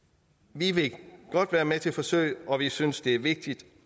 vi vil godt være med til forsøg og vi synes det er vigtigt